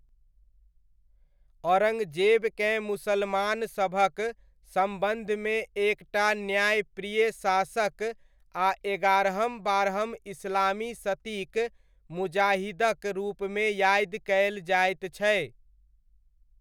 औरङ्गजेबकेँ मुसलमानसभक सम्वन्धमे एकटा न्यायप्रिय शासक आ एगारहम बारहम इस्लामी शतीक मुजाहिदक रूपमे यादि कयल जाइत छै।